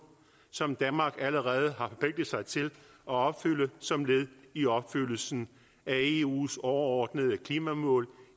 som danmark allerede har forpligtet sig til at opfylde som led i opfyldelsen af eus overordnede klimamål